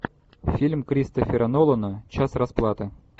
фильм кристофера нолана час расплаты